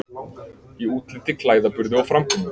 Í útliti, klæðaburði, framkomu.